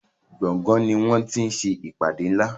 gboôgan ní wón tí ṣe ìpàdé nlá.